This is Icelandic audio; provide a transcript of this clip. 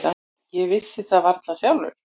Ég vissi það varla sjálfur.